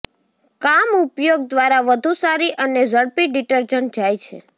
કામ ઉપયોગ દ્વારા વધુ સારી અને ઝડપી ડિટર્જન્ટ જાય છે